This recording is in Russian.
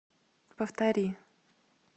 повтори